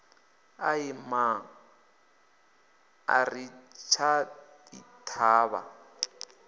ai mma ari ḓi thavha